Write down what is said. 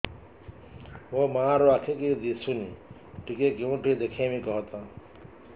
ମୋ ମା ର ଆଖି କି ଦିସୁନି ଟିକେ କେଉଁଠି ଦେଖେଇମି କଖତ